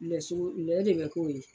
Lɛ sogo lɛ de bɛ k'o ye.